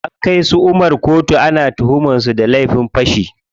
An kai su Umar koto, ana tuhumar su da laifin fashi.